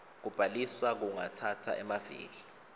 kubhaliswa kungatsatsa emaviki